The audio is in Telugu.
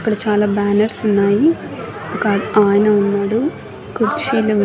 అక్కడ చాలా బ్యానర్స్ ఉన్నాయి ఒక ఆయన ఉన్నాడు కుర్చీలు ఉన్--